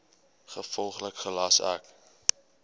gevolglik gelas ek